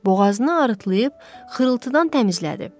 Boğazını arıtlayıb xırıltıdan təmizlədi.